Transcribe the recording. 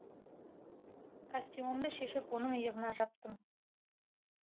костюмімді шешіп оның иығына жаптым